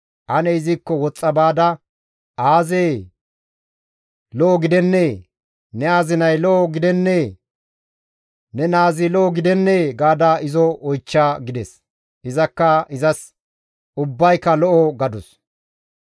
Ane izikko woxxa baada, ‹Aazee! Lo7o gidennee? Ne azinay lo7o gidennee? Ne naazi lo7o gidennee?› gaada izo oychcha» gides. Izakka izas, «Ubbayka lo7o» gadus.